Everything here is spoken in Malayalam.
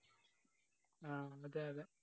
ആഹ് അതെ അതെ